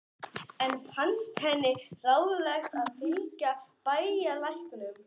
Enn fannst henni ráðlegast að fylgja bæjarlæknum.